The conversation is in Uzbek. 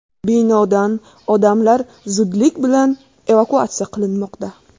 Binodan odamlar zudlik bilan evakuatsiya qilinmoqda.